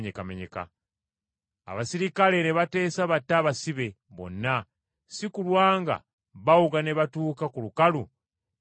Abaserikale ne bateesa batte abasibe bonna, si kulwa nga bawuga ne batuuka ku lukalu ne babomba.